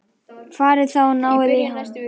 Farið þá og náið í hann!